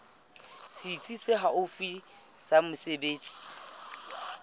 setsi se haufi sa mesebetsi